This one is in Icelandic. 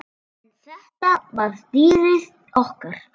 En þetta var dýrið okkar.